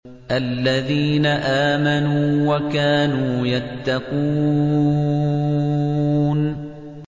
الَّذِينَ آمَنُوا وَكَانُوا يَتَّقُونَ